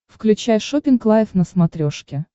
включай шоппинг лайв на смотрешке